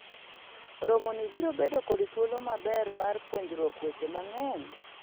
romoni biro bedo kod thuolo maber mar puonjruok weche mang'eny